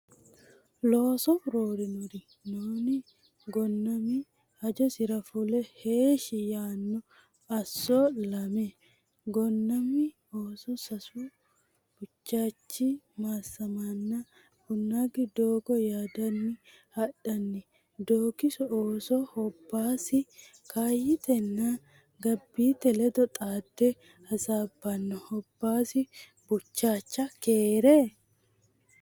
Looso roorannori noonni? Gonnami hajosira fule heeshshi yaanno Asso Lame [Gonnami ooso sasu Buchaachi Maassamenna Bunnaaqi doogo yaaddanni hadhanni Doogiso ooso Hobbaasi Kaayyitenna Gabbiite ledo xaadde hasaabbanno Hobbaasi Buchaacha keere?